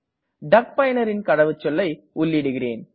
டக் பயனரின் கடவுச்சொல்லை உள்ளிடுகிறேன்